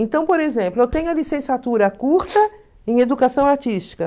Então, por exemplo, eu tenho a licenciatura curta em educação artística.